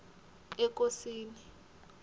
ekosini